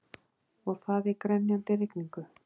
Og það í grenjandi rigningu!